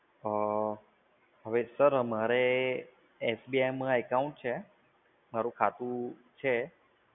અ હવે સર મારે SBI માં account છે, મારુ ખાતું છે.